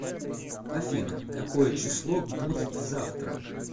афина какое число будит завтра